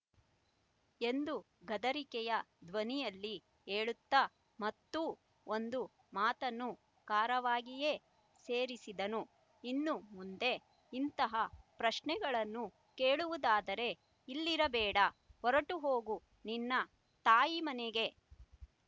ಎಂದು ಗದರಿಕೆಯ ಧ್ವನಿಯಲ್ಲಿ ಹೇಳುತ್ತಾ ಮತ್ತೂ ಒಂದು ಮಾತನ್ನು ಖಾರವಾಗಿಯೇ ಸೇರಿಸಿದನು ಇನ್ನು ಮುಂದೆ ಇಂತಹ ಪ್ರಶ್ನೆಗಳನ್ನು ಕೇಳುವುದಾದರೆ ಇಲ್ಲಿರಬೇಡ ಹೊರಟು ಹೋಗು ನಿನ್ನ ತಾಯಿ ಮನೆಗೆ